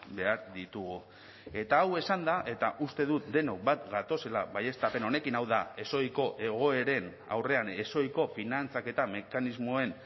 behar ditugu eta hau esanda eta uste dut denok bat gatozela baieztapen honekin hau da ezohiko egoeren aurrean ezohiko finantzaketa mekanismoen